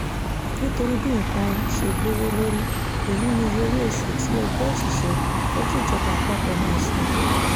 nítorí bí nǹkan ṣe gbówó lórí èyí niye owó-oṣù tí ẹgbẹ́ òṣìṣẹ́ fẹ́ kíjọba àpapọ̀ máa san